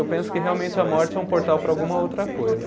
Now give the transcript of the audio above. Eu penso que realmente a morte é um portal para alguma outra coisa.